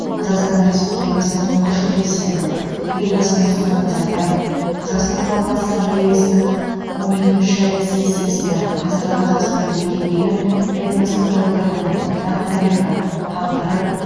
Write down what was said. қазақстан республикасы тұңғыш президенті елбасы нұрсұлтан назарбаев қазақстан халқы ассамблеясының он екінші сессиясында қазіргі қазақстанды мекендеген этностық топтардың ортақ тарихи тағдыры